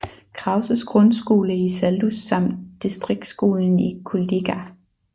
Krauses grundskole i Saldus samt distriktsskolen i Kuldīga